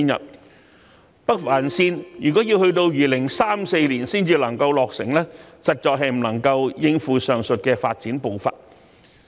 如果北環綫要到2034年才能夠落成，實在是不能夠應付上述的發展步伐。